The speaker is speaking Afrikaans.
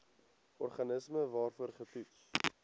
organisme waarvoor getoets